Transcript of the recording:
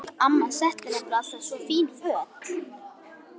Amma setti hann nefnilega alltaf í svo fín föt.